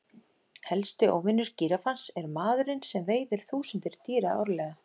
Helsti óvinur gíraffans er maðurinn sem veiðir þúsundir dýra árlega.